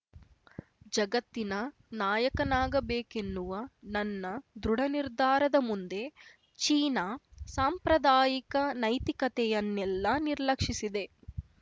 ಜಗತ್ತಿನ ನಾಯಕನಾಗಬೇಕೆನ್ನುವ ನನ್ನ ದೃಢನಿರ್ಧಾರದ ಮುಂದೆ ಚೀನಾ ಸಾಂಪ್ರದಾಯಿಕ ನೈತಿಕತೆಯನ್ನೆಲ್ಲ ನಿರ್ಲಕ್ಷಿಸಿದೆ